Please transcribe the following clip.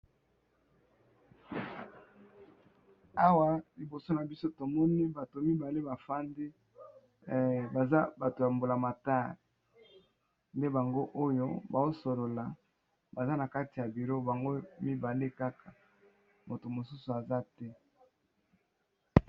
Awa liboso na biso tomoni bato mibale ba fandi baza bato ya mbula matari baza Kaka bango mibale .